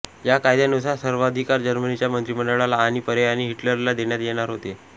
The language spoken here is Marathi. या कायद्यानुसार सर्वाधिकार जर्मनीच्या मंत्रिमंडळाला आणि पर्यायाने हिटलर ला देण्यात येणार होते